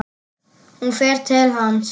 Hún fer til hans.